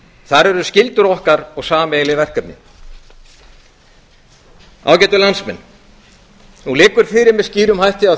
þar eru skyldur okkar og sameiginleg verkefni ágætu landsmenn það liggur fyrir með skýrum hætti að